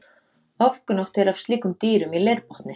Ofgnótt er af slíkum dýrum í leirbotni.